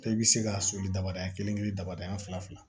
I bɛ se ka soli damadɔ kelen kelen damadɔɔni fila fila